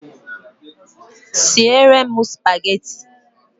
Sie re m Spageti